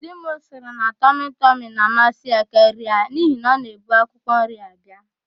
Di m sịrị na tọmịtọmị na-amasị ya karịa n'ihi na ọ na-ebu akwụkwọnri abịa.